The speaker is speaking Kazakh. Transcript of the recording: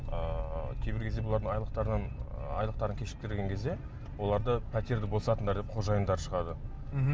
ыыы кейбір кезде бұлардың айлықтарынан ы айлықтарын кешіктірген кезде оларды пәтерді босатыңдар деп қожайындары шығады мхм